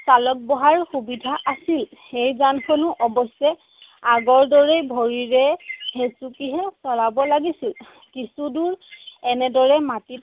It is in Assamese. চালক বহাৰ সুবিধা আছিল। সেই যানখনো অৱশ্যে আগৰদৰেই ভৰিৰে হেচুকিহে চলাব লাগিছিল। কিছু দূৰ এনেদৰেই মাটিত